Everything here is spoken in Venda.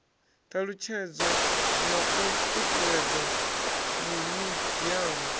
ṱalutshedzwa na u ṱuṱuwedzwa mimiziamu